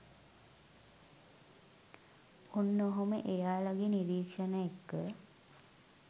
ඔන්න ඔහොම එයාලගේ නිරීක්‍ෂණ එක්ක